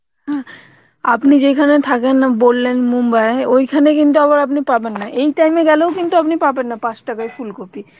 on আপনি যেখানে থাকেন বললেন Mumbai ওইখানে কিন্তু আবার আপনি পাবেন না, এই time এ গেলেও কিন্তু আপনি পাবেন না পাঁচ টাকায় ফুলকপি